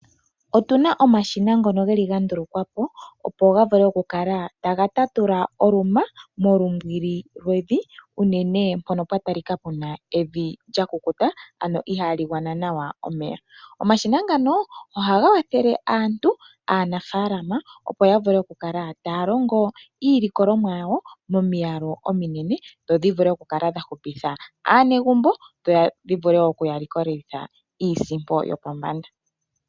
Otu na omashina ngono ga ndulukwa po, opo ga vule okukala taga tatula oluma molumbwili lwevi unene mpono pwa talika pu na evi lyakukuta, ano ihaali gwana nawa omeya. Omashina ngano ohaga kwathele aantu, aanafaalama, opo ya vule okukala taya longo iilikolomwa yawo momiyalu ominene dho yi kale ya vula okukala ya hupitha aanegumbo dho dhi vule okuya likolitha iisimpo yopombanda.